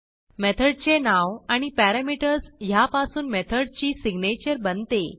मेथडचे नाव आणि पॅरामीटर्स ह्यापासून मेथडची सिग्नेचर बनते